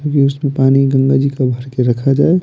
क्योंकि उसमें पानी गंगा जी का भर के रखा जाए--